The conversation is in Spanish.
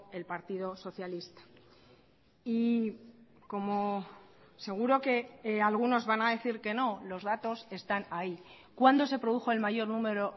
el partido socialista y como seguro que algunos van a decir que no los datos están ahí cuándo se produjo el mayor número